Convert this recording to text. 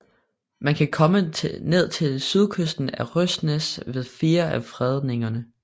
Man kan komme ned til sydkysten af Røsnæs ved fire af fredningerne